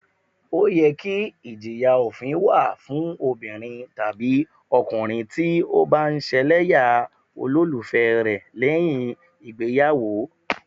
Ó yẹ kí ìjìyà òfin wà fún obìnrin tàbí ọkùnrin tí ó bá ń ṣẹlẹ́yà olólùfẹ́ rẹ lẹ́yìn ìgbéyàwó